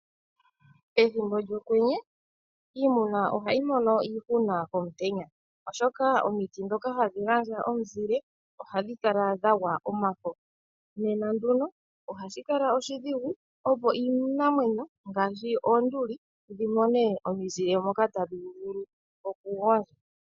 Pethimbo lyokwenye iimuna ohayi mono iihuna komutenya oshoka omiti ndhoka hadhi gandja omizile ohadhi kala dha gwa omafo nena nduno ohashi kala oshidhigu opo iinamwenyo ngaashi oonduli dhi mone omizile moka tadhi vulu okugondja.